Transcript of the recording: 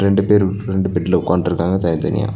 ரெண்டு பேரும் ரெண்டு பெட்ல உக்கான்டுருக்காங்க தனித்தனியா.